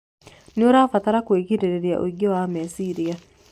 nĩtũrabatara kũĩgirĩrĩria ũingĩ wa meciria